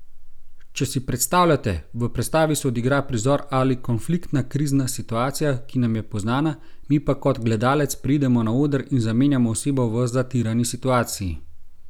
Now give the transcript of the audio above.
Če si predstavljate, v predstavi se odigra prizor ali konfliktna, krizna situacija, ki nam je poznana, mi pa kot gledalec pridemo na oder in zamenjamo osebo v zatirani situaciji.